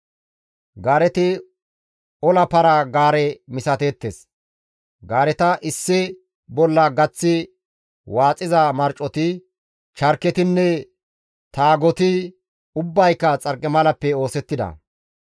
Gaareti ola para-gaare misateettes; gaareta issi bolla gaththi waaxiza marcoti, charketinne taagoti ubbayka xarqimalappe oosettida.